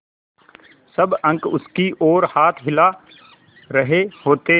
सब अंक उसकी ओर हाथ हिला रहे होते